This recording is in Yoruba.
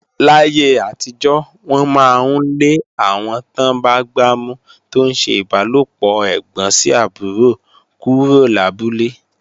Láyé àtijọ́, wọ́n máa ń lé àwọn tán bá gbámú tó ń ṣe ìbálòpọ̀ ẹ̀gbọ́n sí àbúrò kúrò lábúlé.